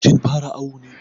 Kin fara awu ne.